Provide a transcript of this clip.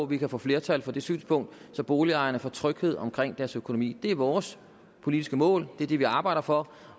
vi kan få flertal for det synspunkt så boligejerne får tryghed omkring deres økonomi det er vores politiske mål det er det vi arbejder for